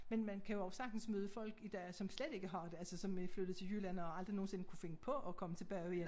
Men man kan jo også sagtens møde folk i dag som slet ikke har det altså som er flyttet til Jylland og aldrig nogensinde kunne finde på at komme tilbage igen